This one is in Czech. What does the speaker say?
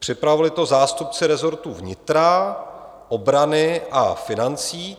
Připravili to zástupci rezortů vnitra, obrany a financí.